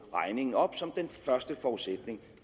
regningen op som den første forudsætning